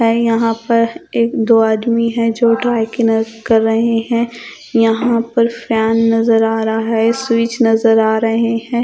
हैं यहां पर एक दो आदमी हैं जो कर रहे हैं यहां पर फैन नजर आ रहा है स्विच नजर आ रहे है